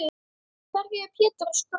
Hverju er Pétur að skrökva?